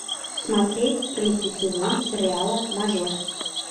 смотреть третий сезон сериала мажор